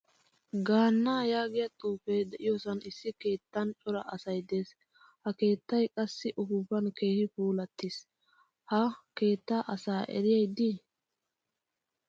Gaanna yaagiyaa xuufe de'iyosan issi keettan cora asay de'ees. Ha keettay qassi uppupan keehin puulattiis. Ha keettaa asaa eriyay de'i?